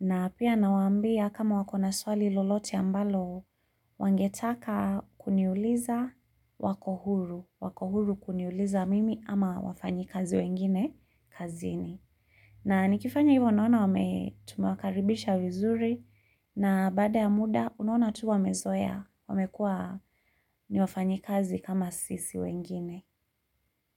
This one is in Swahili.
Na pia nawaambia kama wako na swali lolote ambalo wangetaka kuniuliza wako huru. Wako huru kuniuliza mimi ama wafanyi kazi wengine kazini. Na nikifanya hivyo naona wame tumewakaribisha vizuri. Na baada ya muda unaona tu wamezoea wamekuwa ni wafanyi kazi kama sisi wengine.